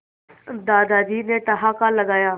दादाजी ने ठहाका लगाया